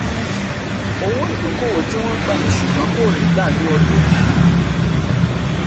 owó-ìdókòwò tí wọ́n gbà ṣùgbọ́n kò rí gbà ni ọdún yìí.